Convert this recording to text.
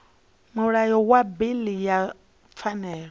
mulayo wa bili ya pfanelo